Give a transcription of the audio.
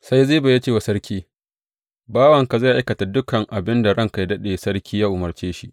Sai Ziba ya ce wa sarki, Bawanka zai aikata dukan abin da ranka yă daɗe sarki, ya umarce shi.